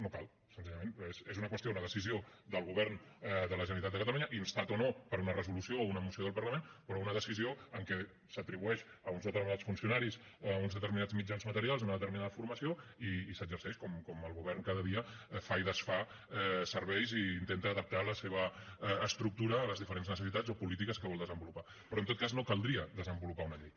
no cal senzillament perquè és una qüestió una decisió del govern de la generalitat de catalunya instat o no per una resolució o una moció del parlament però una decisió en què s’atribueix a uns determinats funcionaris uns determinats mitjans materials una determinada formació i s’exerceix com el govern cada dia fa i desfà serveis i intenta adaptar la seva estructura a les diferents necessitats o polítiques que vol desenvolupar però en tot cas no caldria desenvolupar una llei